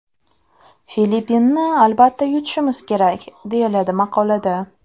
Filippinni albatta yutishimiz kerak!”, deyiladi maqolada.